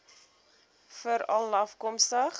veralafkomstig